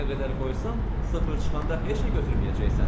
Nə qədər qoysan, sıfır çıxanda heç nə götürməyəcəksən.